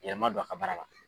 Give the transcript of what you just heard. Yɛlɛma don a ka baara la.